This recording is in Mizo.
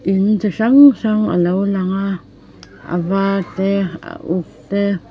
in chi hrang hrang a lo lang a a var te a uk te.